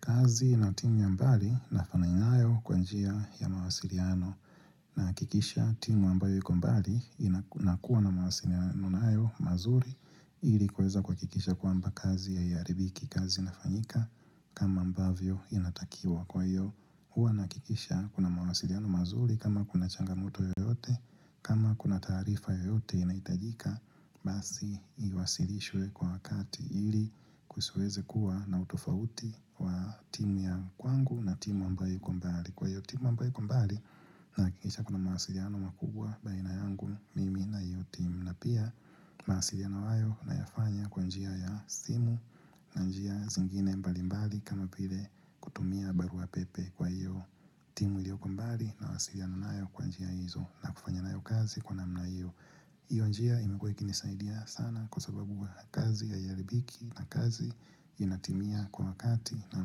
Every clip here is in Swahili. Kazi na timu ya mbali nafanya inayo kwanjia ya mawasiliano nahakikisha timu ambayo iko mbali inakuwa na mawasiliano nayo mazuri ilikuweza kuhakikisha kwamba kazi haiharibiki kazi inafanyika kama ambavyo inatakiwa kwa hiyo. hUwa nahakikisha kuna mawasiliano mazuri kama kuna changamoto yoyote kama kuna taarifa yoyote inahitajika Basi iwasilishwe kwa wakati ili kusiweze kuwa na utofauti wa timu ya kwangu na timu ambayo ikobmbali Kwa hiyo timu ambayo iko mbali nahakikisha kuna mawasiliano makubwa baina yangu mimi na hiyobtimu na pia, mawasiliano hayo na yafanya kwa njia ya simu na njia zingine mbali mbali kama vile kutumia barua pepe kwa iyo timu ilioko mbali nawasiliana nayo kwa njia hizo na kufanya nayo kazi kwa namna hiyo. hIyo njia imekuwa ikinisaidia sana kwa sababu kazi haiharibiki na kazi inatimia kwa wakati na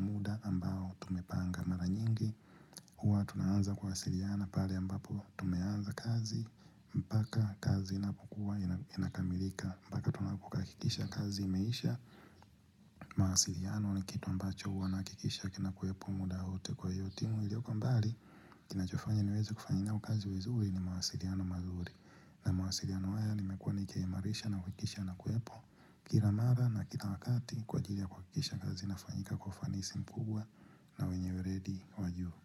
muda ambao tumepanga mara nyingi. hUwa tunaanza kuwasiliana pale ambapo tumeanza kazi, mpaka kazi inapokua inakamilika mpaka tunapohakakikisha kazi imeisha, mawasiliano ni kitu ambacho huwa nahakikisha kina kuwepo muda wote kwa hiyo timu Ilioko mbali, kinachofanya niweze kufanya nayo kazi vizuri ni mawasiliano mazuri na mawasiliano haya nimekuwa nikiimarisha na kuhakikisha yana kuwepo Kira mara na kila wakati kwa ajili ya kuhakikisha kazi inafanyika kwa ufanisi mkubwa na wenye weredi wa juu.